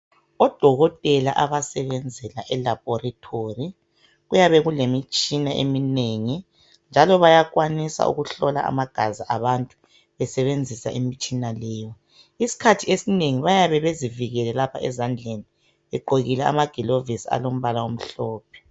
Odokotela abasebenzela elaboratory kuyabe kulemitshina eminengi njalo bayakwanisa ukuhlola amagazi abantu besebenzisa imitshina leyi. Isikhathi esinengi bayabe bezivikele lapha ezandleni begqoke amagilovisi alombala omhlophe.